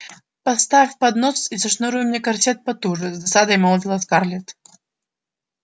поставь поднос и зашнуруй мне корсет потуже с досадой молвила скарлетт